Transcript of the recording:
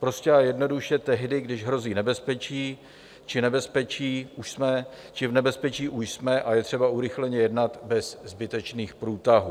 Prostě a jednoduše tehdy, když hrozí nebezpečí či nebezpečí v už jsme a je třeba urychleně jednat bez zbytečných průtahů.